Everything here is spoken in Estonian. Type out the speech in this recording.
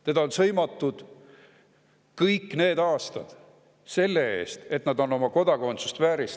Teda on sõimatud kõik need aastad selle eest, et ta on oma kodakondsust vääristanud.